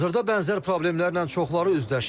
Hazırda bənzər problemlərlə çoxları üzləşir.